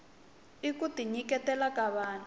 i kuti nyiketela ka vahnu